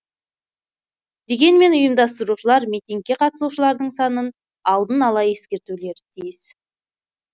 дегенмен ұйымдастырушылар митингке қатысушылардың санын алдын ала ескертулері тиіс